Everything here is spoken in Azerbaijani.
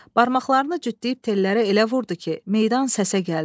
Barmaqlarını cütləyib tellərə elə vurdu ki, meydan səsə gəldi.